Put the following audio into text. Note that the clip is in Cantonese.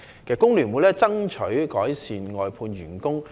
工聯會一直爭取改善外判員工的福利。